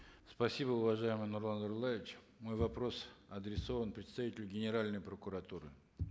спасибо уважаемый нурлан зайроллаевич мой вопрос адресован представителю генеральной прокуратуры